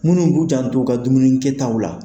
Minnu b'u jan t'u ka dumuni kɛtaw la.